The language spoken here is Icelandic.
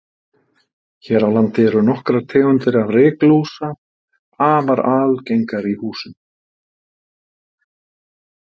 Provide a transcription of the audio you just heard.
Hér á landi eru nokkrar tegundir ryklúsa afar algengar í húsum.